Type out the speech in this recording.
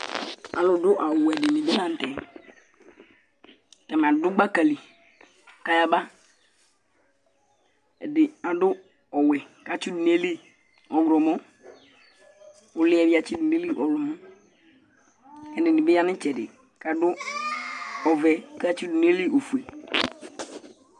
Alu du awu wɛ dìní di bi la ntɛ Atani a'du gbaka li kʋ ayaba Ɛdí adu ɔwɛ kʋ atsi du nʋ ayìlí ɔwlɔmɔ Ʋli yɛ bi atsi du nʋ ayìlí ɔwlɔmɔ Ɛdiní bi ya nʋ itsɛdi kʋ adu ɔvɛ kʋ atsi du nʋ ayìlí ɔfʋe